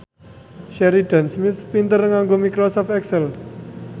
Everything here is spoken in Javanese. Sheridan Smith pinter nganggo microsoft excel